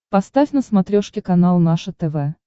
поставь на смотрешке канал наше тв